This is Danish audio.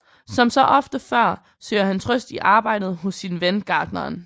Som så ofte før søger han trøst i arbejdet hos sin ven gartneren